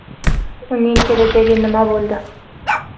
Uning kelajagi nima bo‘ldi?